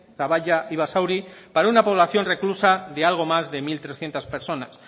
zaballa y basauri para una población reclusa de algo más de mil trescientos personas